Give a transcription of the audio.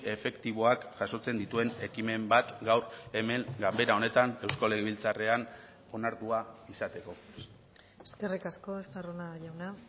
efektiboak jasotzen dituen ekimen bat gaur hemen ganbera honetan eusko legebiltzarrean onartua izateko eskerrik asko estarrona jauna